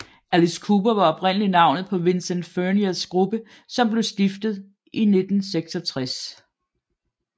Alice Cooper var oprindelig navnet på Vincent Furniers gruppe som blev stiftet i 1966